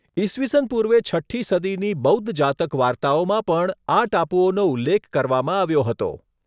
ઈસવીસન પૂર્વે છઠ્ઠી સદીની બૌદ્ધ જાતક વાર્તાઓમાં પણ આ ટાપુઓનો ઉલ્લેખ કરવામાં આવ્યો હતો.